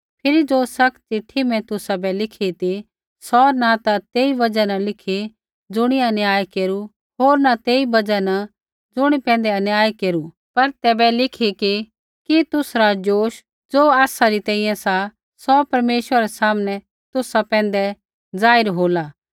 फिरी ज़ो सख्त चिट्ठी मैं तुसाबै लिखी ती सौ न ता तेई बजहा न लिखी ज़ुणियै अन्याय केरू होर न तेई बजहा न ज़ुणी पैंधै अन्याय केरू पर तैबै लिखी कि तुसरा ज़ोश ज़ो आसा री तैंईंयैं सा सौ परमेश्वरा रै सामनै तुसा पैंधै ज़ाहिर होला